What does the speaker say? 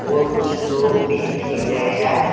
और कुछ लोग भी देख रह्या--